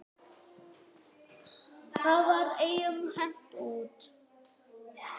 Það var engum hent út.